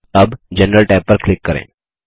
अब general tab पर click करें